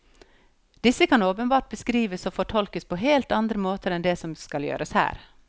Disse kan åpenbart beskrives og fortolkes på helt andre måter enn det som skal gjøres her.